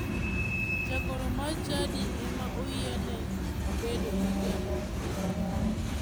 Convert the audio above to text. Jagoro mar chadi ema oyiene bedo gi jalupne.